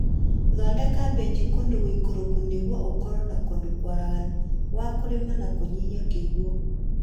Thondeka benji kũndũ gũikũrũku nĩguo ũkorwo na kũndũ kwaraganu gwa kũrima na kũnyihia kĩguũ